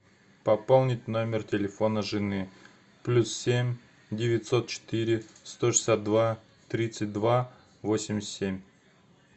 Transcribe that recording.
пополнить номер телефона жены плюс семь девятьсот четыре сто шестьдесят два тридцать два восемьдесят семь